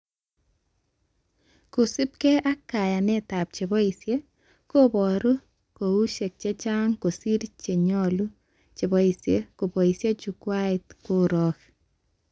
Kosubke ak kayanetab cheboishee kaboru koushek chechang kosir chenyoru cheboishee koboishee jukwait korok